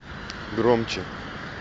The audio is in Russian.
громче